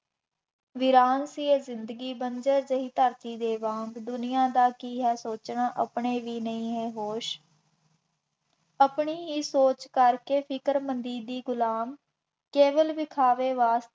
ਵੀਰਾਨ ਸੀ ਇਹ ਜ਼ਿੰਦਗੀ, ਬੰਜ਼ਰ ਜਿਹੀ ਧਰਤੀ ਦੇ ਵਾਂਗ, ਦੁਨੀਆ ਦਾ ਕੀ ਹੈ ਸੋਚਣਾ, ਆਪਣੇ ਵੀ ਨਹੀਂ ਹੈ ਹੋਸ਼, ਆਪਣੀ ਹੀ ਸੋਚ ਕਰਕੇ ਫਿਰਕਮੰਦੀ ਦੀ ਗੁਲਾਮ ਕੇਵਲ ਵਿਖਾਵੇ ਬਾਅਦ